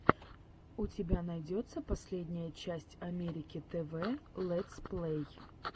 у тебя найдется последняя часть америки тв лэтсплэй